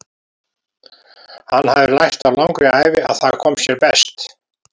Hann hafði lært á langri ævi að það kom sér best.